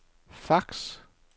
fax